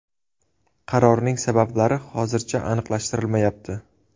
Qarorning sabablari hozircha aniqlashtirilmayapti.